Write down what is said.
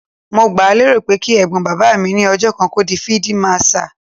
Mo gbáà lérò pé kí Ẹ̀gbọ́n bàbá mi ní ọjọ́ kan kó di fíídí màṣaà.